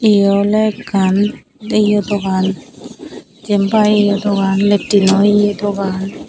yea oley ekkan yea dogan jenpai yeah dogan latrino yea dogan.